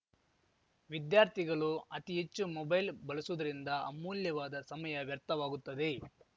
ವಿದ್ಯಾರ್ಥಿಗಲು ಅತಿ ಹೆಚ್ಚು ಮೊಬೈಲ್‌ ಬಲಸುವುದರಿಂದ ಅಮೂಲ್ಯವಾದ ಸಮಯ ವ್ಯರ್ಥವಾಗುತ್ತದೆ